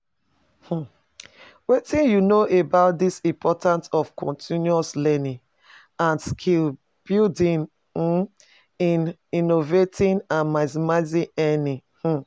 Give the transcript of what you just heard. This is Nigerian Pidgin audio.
um Wetin you know about di importance of continuous learning and skill-building um in innovating and maximizing earnings? um